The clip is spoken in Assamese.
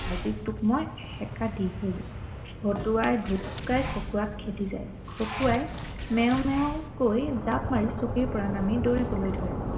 আজি তোক মই এসেকা দি হে এৰিম ভতুৱাই ভুক ভুকাই খকুৱাক খেদি যায়, খকুৱাই মেও মেও কৈ জাপ মাৰি চকীৰ পৰা নামি দৌৰিবলৈ ধৰে